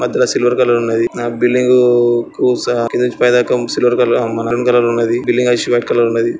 మధ్యలో silver colour ఉన్నది. నా బిల్డింగూ కు స కింద నుంచి పై దాక సిల్వర్ కలర్ అం మెరైన్ కలర్ ఉన్నది. బిల్డింగ్ ఐష్ వైట్ కలర్ లో ఉన్నది.